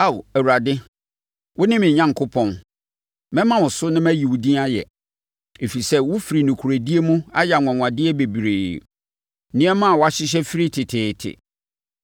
Ao, Awurade, wone me Onyankopɔn; mɛma wo so na mayi wo din ayɛ, ɛfiri sɛ wofiri nokorɛdie mu ayɛ anwanwadeɛ bebree, nneɛma a wɔahyehyɛ firi teteete.